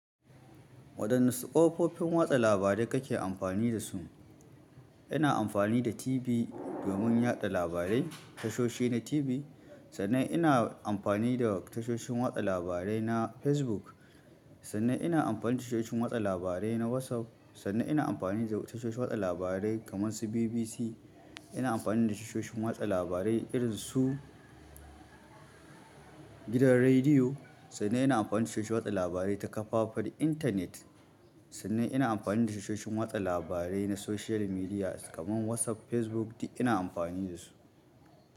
Waɗanne ƙofofin watsa labarai kake amfani da su? Ina amfani da TV domin yaɗa labarai, tashoshi na TV, sannan ina amfani da tashoshin watsa labarai na Facebook, sannan ina amfani da tashoshin watsa labarai na WhatsApp, sannan ina amfani da tashoshin watsa labarai kamar su BBC. Ina amfani da tashoshin watsa labarai irin su gidan rediyo, sannan ina amfani da tashoshin watsa labarai ta kafafen intanet, sannan ina amfani da tashoshin watsa labarai na social media kamar WhatsApp, Facebook ina amfani da su.